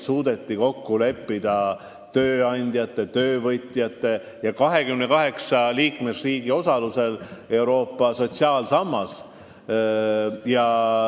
Tööandjate, töövõtjate ja 28 liikmesriigi osalusel suudeti kokku leppida Euroopa sotsiaalsammas.